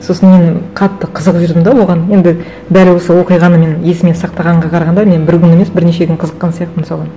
сосын мен қатты қызығып жүрдім де оған енді дәл осы оқиғаны мен есіме сақтағанға қарағанда мен бір күн емес бірнеше күн қызыққан сияқтымын соған